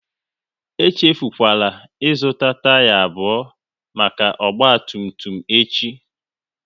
Echefukwala ị zụta taya abụọ maka ọgba tum tum echi!